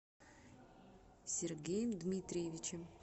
сергеем дмитриевичем